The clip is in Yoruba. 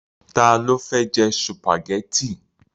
Ta ló fẹ́ jẹ sùpàgẹ́tì?